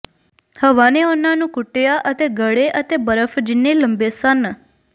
ਹਵਾ ਨੇ ਉਨ੍ਹਾਂ ਨੂੰ ਕੁੱਟਿਆ ਅਤੇ ਗੜੇ ਅਤੇ ਬਰਫ਼ ਜਿੰਨੇ ਲੰਬੇ ਸਨ